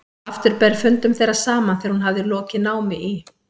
Aftur ber fundum þeirra saman þegar hún hafði lokið námi í